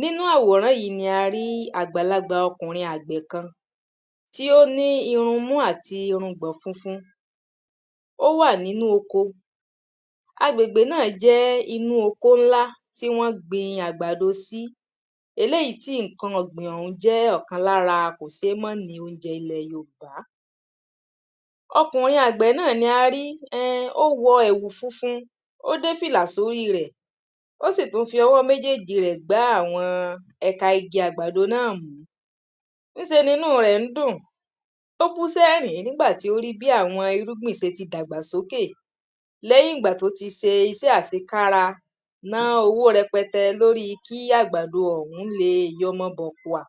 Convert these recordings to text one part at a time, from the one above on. Nínũ àwòrán yí ni àgbàlagbà o̩kùnrin àgbè̩ kan tí ó ní irunmú àti irungbò̩n funfun. Ó wà nínú oko. Agbègbè náà jé̩ inú oko ńlá tí wó̩n gbin àgbàdo sí. Eléyí yí ǹkan ò̩gbìn ò̩hún jé̩ ò̩kan lára kò sé má ní oúnje̩ ilè̩ Yorùbá. O̩kùnrin àgbè̩ náà ni a rí e̩hn ó wo̩ è̩wù funfun. Ó dé fìlà sórí rè̩ Ó sì tún fi o̩wó̩ méjéjì rè̩ gbá àwo̩n e̩ka igi àgbàdo náà mú. Ń se ni inú rè̩ ń dùn. Ó bú sé̩rín nígbà tí ó rí bí àwo̩n irúgbìn se ti dàgbà sókè. Lé̩yìn ìgbà tó ti se isé̩ àsekára, ná owó re̩pe̩te̩ lórí kí àgbàdo ò̩hún leè yo̩mo̩ bò̩kùà.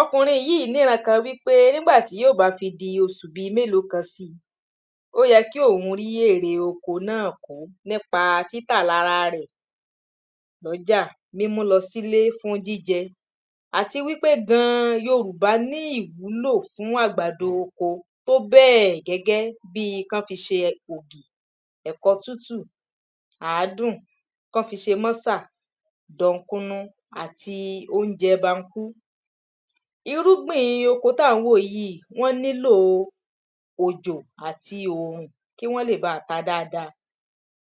O̩kùnrin yí nírankàn wípé nígbà tí yó bá fi di osù bi méló kan si, ó ye̩ kí òún rí èrè oko náà nípa títà lára rè̩ ló̩jà, mímú lo̩ sílé fún jíje̩. Àti wípé gan-an, Yorùbá ní ìwúlò fún àgbàdo oko. Tó bé̩è̩ gé̩gé̩ bíi kán fi se ògì, è̩ko̩ tútù, àádùn, kán fi se mó̩sà, dò̩ǹkunu, àti oúnje̩ bankú. Irúgbìn oko tá ǹ wò yí wó̩n nílò òjò àti òrùn kí wó̩n lè baà ta dáadáa.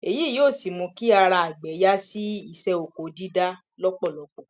Èyí yó sì mú kí ara àgbè̩ yá sí isé̩ oko dídá ló̩pò̩lo̩pò̩.